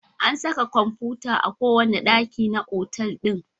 An saka kwamfuta a kowane ɗaki na otal ɗin.